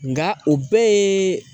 Nka o bɛɛ ye